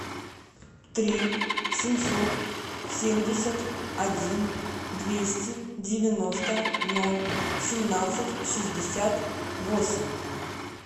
три семьсот семьдесят один двести девяносто ноль семнадцать шестьдесят восемь